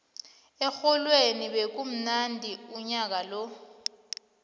erholweni bekumnandi unyaka lo